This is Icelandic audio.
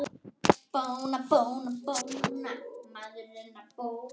Hvert það leiðir mann.